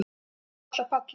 Stigapall af palli.